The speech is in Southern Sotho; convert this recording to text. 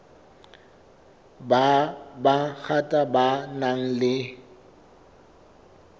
ba bangata ba nang le